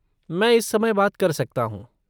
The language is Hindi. मैं इस समय बात कर सकता हूँ।